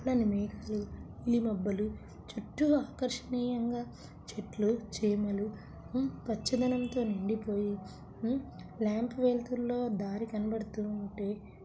మేఘాలు మబ్బులు చుట్టూ ఎంతో ఆకర్షణీయంగా చెట్లు చేమలు ఉ పచ్చదనంతో ఉండిపోయే ఉ లాంప్ వెలుతురు లో దారి కనబడుతూ ఉంటే--.